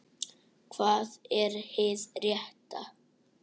Hvað er hið rétta?